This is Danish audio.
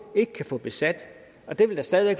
ikke kan få besat og det vil da stadig